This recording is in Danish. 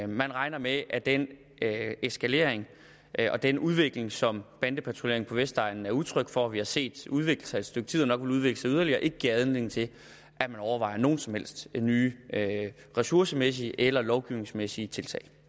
man regner med at den eskalering og den udvikling som bandepatruljering på vestegnen er udtryk for og som vi har set udvikle sig et stykke tid og nok vil udvikle sig yderligere ikke giver anledning til at man overvejer nogen som helst nye ressourcemæssige eller lovgivningsmæssige tiltag